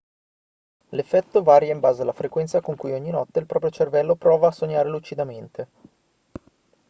l'effetto varia in base alla frequenza con cui ogni notte il proprio cervello prova a sognare lucidamente